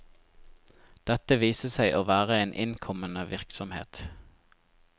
Dette viste seg å være en innkommende virksomhet.